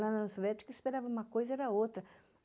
Lá na Sovética, eu esperava uma coisa e era outra.